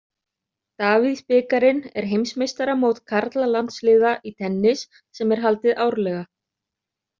Davíðs-bikarinn er heimsmeistaramót karlalandsliða í tennis sem er haldið árlega.